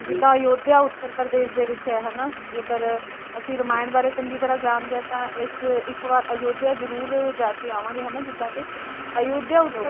ਜਿੱਦਾਂ ਅਯੋਧਿਆ ਉੱਤਰ ਪ੍ਰਦੇਸ਼ ਦੇ ਵਿੱਚ ਹੈ ਹਨਾਂ, ਜੇਕਰ ਅਸੀਂ ਰਮਾਇਣ ਬਾਰੇ ਚੰਗੀ ਤਰਾਂ ਜਾਣਦੇ ਆ ਤਾਂ ਇਸ ਇੱਕ ਵਾਰ ਅਯੋਧਿਆ ਜਰੂਰ ਜਾਕੇ ਆਵਾਂਗੇ ਹਨਾਂ, ਜਿਦਾਂ ਕੇ ਅਯੋਧਿਆ